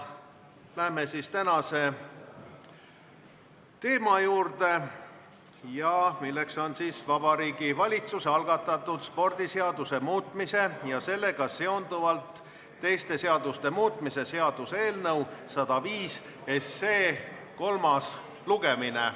Läheme tänase teema juurde, milleks on Vabariigi Valitsuse algatatud spordiseaduse muutmise ja sellega seonduvalt teiste seaduste muutmise seaduse eelnõu 105 kolmas lugemine.